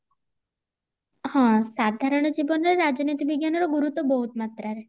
ହଁ ସାଧାରଣ ଜୀବନରେ ରାଜନୀତି ବିଜ୍ଞାନ ର ଗୁରୁତ୍ବ ବୋହୁତ ମାତ୍ରା ରେ